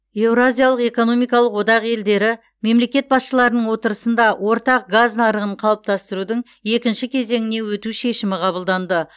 еуразиялық экономикалық одақ елдері мемлекет басшыларының отырысында ортақ газ нарығын қалыптастырудың екінші кезеңіне өту шешімі қабылданды